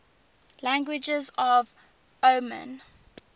languages of oman